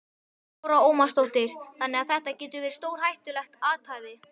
Lára Ómarsdóttir: Þannig að þetta getur verið stórhættulegt athæfi?